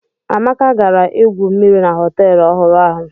Amaka gara igwu mmiri na họtel ọhụrụ ahụ.